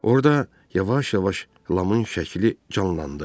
Orda yavaş-yavaş Lamın şəkli canlandı.